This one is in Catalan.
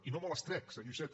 i no me les trec senyor iceta